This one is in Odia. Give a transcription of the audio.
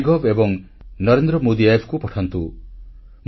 ମାଇଗଭ୍ ଏବଂ ନରେନ୍ଦ୍ର ମୋଦି Appକୁ ପଠାନ୍ତୁ